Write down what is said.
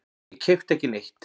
Ég keypti ekki neitt.